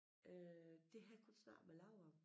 Øh det havde jeg kun snakket med Lau om